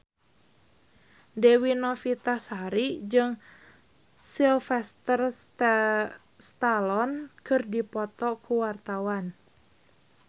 Dewi Novitasari jeung Sylvester Stallone keur dipoto ku wartawan